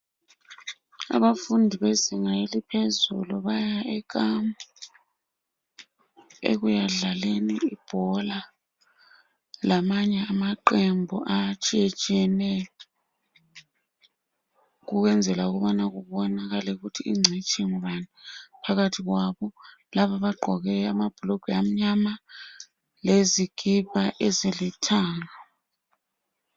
Abafundi bezinga eliphezulu baya ekhempu ekuya dlaleni ibhola lamanye amaqembu atshiyetshiyeneyo ukuyenzela ukuba kubonakale ukuba incitshi ngubani phakathi kwabo laba abagqoke ababhulugwe amnyama lezikapa ezilithanga.